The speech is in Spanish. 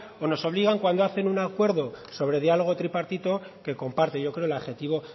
o nos obligan cuando hacen un acuerdo sobre diálogo tripartito que comparte yo creo el adjetivo